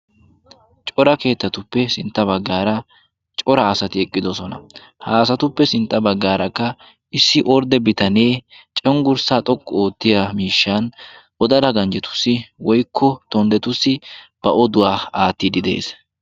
Cora keettatuppe sintta baggaara cora asati eqqidosona. ha asatuppe sintta baggaarakka issi ordde bitanee conggurssaa xoqqu oottiya miishshan wodala ganjjetussi woikko tonddetussi ba oduwaa aattiidi de.ees.